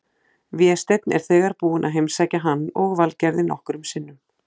Vésteinn er þegar búinn að heimsækja hann og Valgerði nokkrum sinnum.